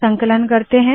संकलन करते है